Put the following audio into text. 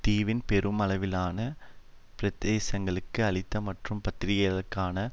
தீவின் பெருமளவிலான பிரதேசங்களுக்கு அழித்த மற்றும் பத்தயிரக்காண